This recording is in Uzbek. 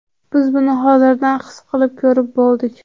Biz buni hozirdan his qilib, ko‘rib bo‘ldik.